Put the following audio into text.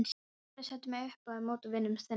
Ég hef aldrei sett mig upp á móti vinnunni þinni.